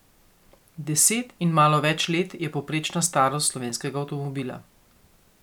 Deset in malo več let je povprečna starost slovenskega avtomobila.